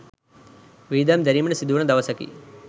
වියදම් දැරීමට සිදුවන දවසකි.